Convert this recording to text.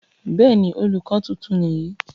bẹ́ẹ̀ni, olùkọ tuntun nìyí